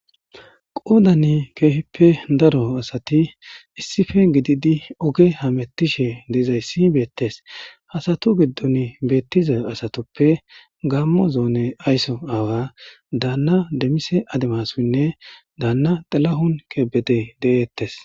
qoodan keehippe daro asati issife gididi oge hamettishe deizayssi beettes hasatu giddon beettiza asatoppe gammo zoone aysso aawa daanna demise ademasoynne daanna xalahun keebedey de7eettes